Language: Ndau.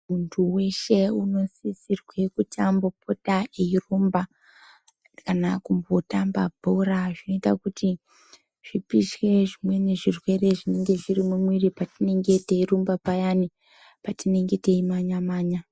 Muntu weshe uno sisirwe kuti ambo pota eyi rumba kana kumbo tamba bhora zvinoita kuti zvipishe zvimweni zvirwere zvinenge zviri mu mwiri patinenge teyi rumba payani patinenge teyi manya manya.